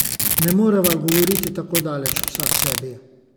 Ne moreva govoriti tako daleč vsaksebi.